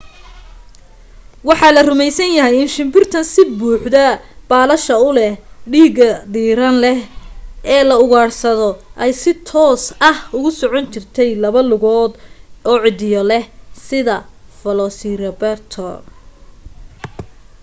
waxa la rumaysan yahay in shimbirtan sida buuxda baalasha u leh dhiiga diiran leh ee la ugaadhsado ay si toos ah ugu socon jirtay laba lugood oo ciddiyo leh sida velociraptor